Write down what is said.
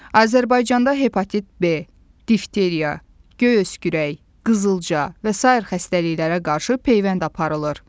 Azərbaycanda hepatit B, difteriya, göy öskürək, qızılca və sair xəstəliklərə qarşı peyvənd aparılır.